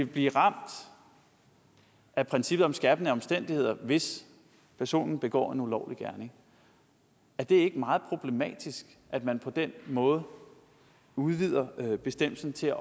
blive ramt af princippet om skærpende omstændigheder hvis personen begår en ulovlig gerning er det ikke meget problematisk at man på den måde udvider bestemmelsen til